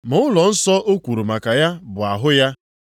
Ma ụlọnsọ o kwuru maka ya bụ ahụ ya.